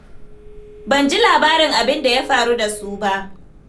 Ban ji labarin abin da ya faru da su ba.